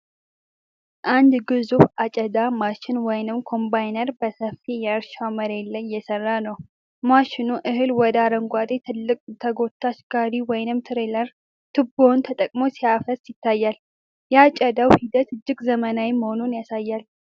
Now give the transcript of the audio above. አንድ ግዙፍ አጨዳ ማሽን (ኮምባይነር) በሰፊ የእርሻ መሬት ላይ እየሰራ ነው። ማሽኑ እህል ወደ አረንጓዴ ትልቅ ተጎታች ጋሪ (ትሬለር) ቱቦውን ተጠቅሞ ሲያፈስ ይታያል። የአጨዳው ሂደት እጅግ ዘመናዊ መሆኑን ያሳያል።